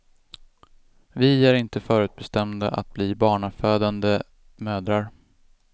Vi är inte förutbestämda att bli barnafödande mödrar.